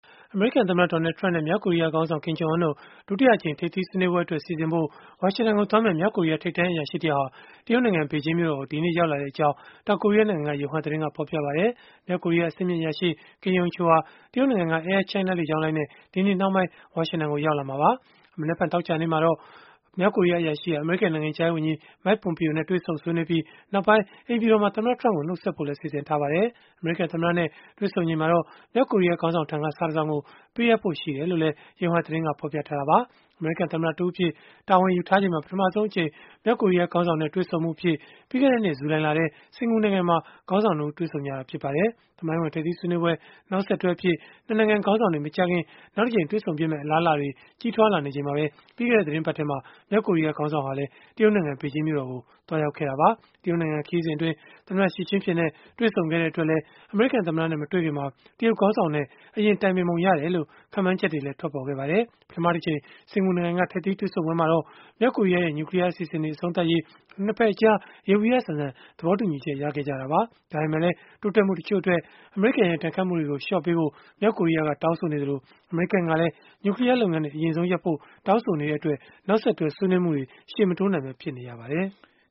အမေရိကန်သမ္မတ Donald Trump နဲ့ မြောက်ကိုရီးယားခေါင်းဆောင် Kim Jong Un တို့ ဒုတိယအကြိမ် ထိပ်သီးဆွေးနွေးပွဲအတွက် စီစဉ်ဖို့ ဝါရှင်တန်ကိုသွားမယ့် မြောက်ကိုရီးယား ထိပ်တန်းအရာရှိတယောက်ဟာ တရုတ်နိုင်ငံ ဘေဂျင်းမြို့တော်ကို ဒီကနေ့ ရောက်လာခဲ့ကြောင်း တောင်ကိုရီးယားနိုင်ငံက Yonhap သတင်းက ဖော်ပြပါတယ်။ မြောက်ကိုရီးယား အဆင့်မြင့်အရာရှိ Kim Yong Chol ဟာ တရုတ်နိုင်ငံက Air China လေကြောင်းလိုင်းနဲ့ ဒီနေ့နှောင်းပိုင်း ဝါရှင်တန်ကို ရောက်လာမှာပါ။ မနက်ဖြန် သောကြာနေ့မှာတော့ မြောက်ကိုရီးယားအရာရှိဟာ အမေရိကန် နိုင်ငံခြားရေးဝန်ကြီး Mike Pompeo နဲ့ တွေ့ဆုံဆွေးနွေးပြီး၊ နောက်ပိုင်း အိမ်ဖြူတော်မှာ သမ္မတ Trump ကို နှုတ်ဆက်ဖို့လည်း စီစဉ်ထားပါတယ်။ အမေရိကန်သမ္မတနဲ့ တွေ့ဆုံချိန်မှာ မြောက်ကိုရီးယားခေါင်းဆောင်ထံက စာတစောင်ကို ပေးအပ်ဖို့ ရှိတယ်လို့လည်း Yonhap သတင်းက ဖော်ပြခဲ့တာပါ။ အမေရိကန်သမ္မတတဦးအဖြစ် တာဝန်ယူထားချိန်မှာ ပထမဆုံးအကြိမ် မြောက်ကိုရီးယား ခေါင်းဆောင်နဲ့ တွေ့ဆုံမှုအဖြစ် ပြီးခဲ့တဲ့နှစ် ဇူလိုင်လထဲ စင်္ကာပူနိုင်ငံမှာ ခေါင်းဆောင် ၂ ဦး တွေ့ဆုံခဲ့ကြတာ ဖြစ်ပါတယ်။ သမိုင်းဝင်ထိပ်သီးဆွေးနွေးပွဲ နောက်ဆက်တွဲအဖြစ် ၂ နိုင်ငံ ခေါင်းဆောင်တွေ မကြာခင် နောက်တကြိမ်တွေ့ဆုံဖြစ်မယ့် အလားအလာတွေလည်း ကြီးထွားလာနေချိန် ပြီးခဲ့တဲ့ သီတင်းပတ်ထဲမှာပဲ မြောက်ကိုရီးယား ခေါင်းဆောင်ဟာလည်း တရုတ်နိုင်ငံ ဘေဂျင်းမြို့တော်ကို သွားရောက်ခဲ့တာပါ။ တရုတ်နိုင်ငံ ခရီးစဉ်အတွင်း သမ္မတ Xi Jinping နဲ့ တွေ့ဆုံခဲ့တဲ့အတွက်လည်း အမေရိကန်သမ္မတနဲ့ မတွေ့ခင်မှာ တရုတ်ခေါင်းဆောင်တွေနဲ့ အရင်တိုင်ပင်ပုံရတယ်လို့ ခန့်မှန်းချက်တွေလည်း ထွက်ပေါ်ခဲ့ပါတယ်။ ပထမတကြိမ် စင်္ကာပူနိုင်ငံက ထိပ်သီးတွေ့ဆုံပွဲမှာတော့ မြောက်ကိုရီးယားရဲ့ နျူကလီးယား အစီအစဉ်တွေ အဆုံးသတ်ရေး ၂ ဘက်အကြား ယေဘုယျဆန်ဆန် သဘောတူညီချက် ရခဲ့ကြတာပါ။ ဒါပေမဲ့လည်း တိုးတက်မှုတချို့အတွက် အမေရိကန်ရဲ့ ဒဏ်ခတ်မှုတွေကို လျှော့ပေါ့ပေးဖို့ မြောက်ကိုရီးယားက တောင်းဆိုနေသလို၊ အမေရိကန်ကလည်း နျူကလီးယားလုပ်ငန်းတွေ အရင်ဆုံးရပ်ဖို့ တောင်းဆိုနေတဲ့အတွက် နောက်ဆက်တွဲ ဆွေးနွေးမှုတွေ ရှေ့မတိုးနိုင်ပဲ ဖြစ်နေပါတယ်။